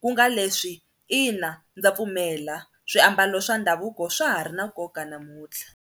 ku nga leswi ina ndza pfumela swiambalo swa ndhavuko swa ha ri na nkoka namuntlha.